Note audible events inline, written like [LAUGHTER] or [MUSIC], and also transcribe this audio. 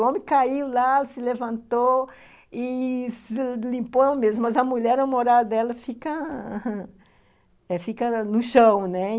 O homem caiu lá, se levantou e se limpou mesmo, mas a mulher, na moral dela, fica no chão, [LAUGHS] né?